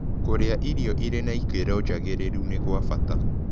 Kũrĩa irio ĩrĩ na ĩkĩro njagĩrĩrũ nĩ gwa bata